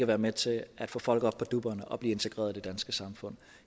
være med til at få folk op på dupperne og blive integreret i det danske samfund